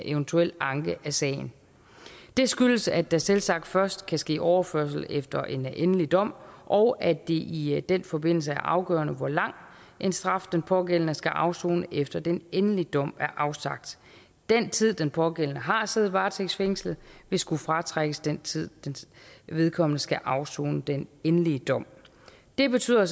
eventuel anke af sagen det skyldes at der selvsagt først kan ske overførsel efter en endelig dom og at det i den forbindelse er afgørende hvor lang en straf den pågældende skal afsone efter den endelige dom er afsagt den tid den pågældende har siddet varetægtsfængslet vil skulle fratrækkes den tid vedkommende skal afsone den endelige dom det betyder